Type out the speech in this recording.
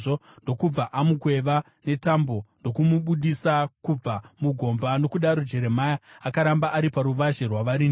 ndokubva vamukweva netambo ndokumubudisa kubva mugomba. Nokudaro Jeremia akaramba ari paruvazhe rwavarindi.